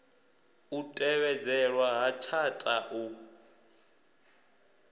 u tevhedzelwa ha tshatha u